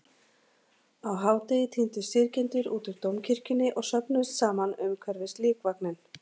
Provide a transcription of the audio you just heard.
Á hádegi tíndust syrgjendur út úr Dómkirkjunni og söfnuðust saman umhverfis líkvagninn.